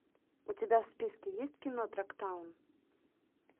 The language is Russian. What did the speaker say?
у тебя в списке есть кино трактаун